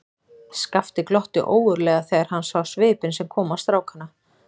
Skapti glotti ógurlega þegar hann sá svipinn sem kom á strákana.